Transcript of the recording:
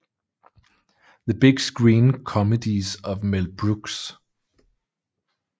The Big Screen Comedies of Mel Brooks